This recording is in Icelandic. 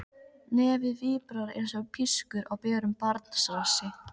Nefið víbrar einsog pískur á berum barnsrassi.